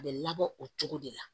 A bɛ labɔ o cogo de la